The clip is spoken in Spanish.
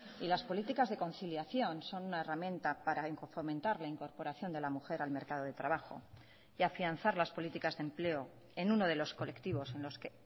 y las políticas de conciliación son una herramienta para fomentar la incorporación de la mujer al mercado de trabajo y afianzar las políticas de empleo en uno de los colectivos en los que